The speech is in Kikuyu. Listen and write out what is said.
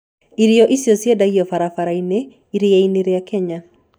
Irio icio ciendagio barabara-inĩ iria-inĩ rĩa Kenya.